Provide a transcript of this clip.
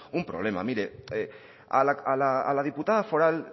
un problema mire a la diputada foral